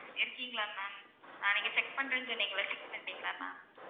இருக்கீங்களா ma'am ஆஹ் நீங்க check பண்றேன்னு சொன்னிங்கல்ல check பண்ணிட்டீங்களா ma'am